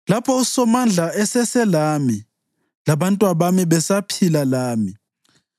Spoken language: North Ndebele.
lapho uSomandla eseselami labantwabami besaphila lami,